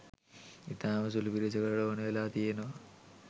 ඉතාම සුළු පිරිසකට ඕන වෙලා තියෙනවා